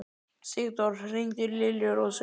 Sigdór, hringdu í Liljurósu.